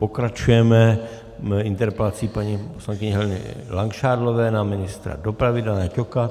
Pokračujeme interpelací paní poslankyně Heleny Langšádlové na ministra dopravy Dana Ťoka.